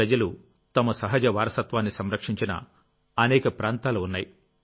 ప్రజలు తమ సహజ వారసత్వాన్ని సంరక్షించిన అనేక ప్రాంతాలు ఉన్నాయి